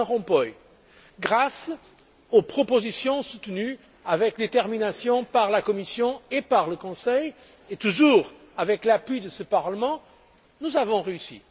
Van Rompuy, grâce aux propositions soutenues avec détermination par la Commission et par le Conseil, et toujours avec l'appui de ce Parlement, nous avons réussi.